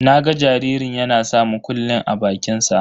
Na ga jaririn yana sa mukullin a bakinsa.